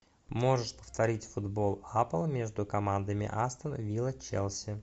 можешь повторить футбол апл между командами астон вилла челси